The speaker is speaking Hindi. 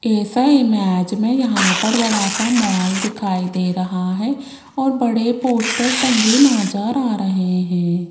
इस इमेज मे यहां पर बड़ा सा मॉल दिखाई दे रहा है और बड़े पोस्टर टंगे नज़र आ रहे है।